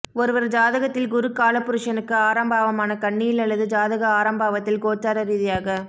ஒருவர் ஜாதகத்தில் குரு கால புருஷனுக்கு ஆறாம் பாவமான கன்னியில் அல்லது ஜாதக ஆறாம் பாவத்தில் கோச்சார ரீதியாக